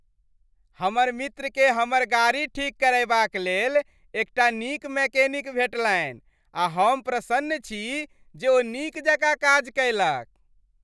हमर मित्रकेँ हमर गाड़ी ठीक करयबाक लेल एकटा नीक मैकेनिक भेटलनि आ हम प्रसन्न छी जे ओ नीक जकाँ काज कयलक।